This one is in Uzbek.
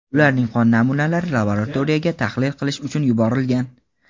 ularning qon namunalari laboratoriyaga tahlil qilish uchun yuborilgan.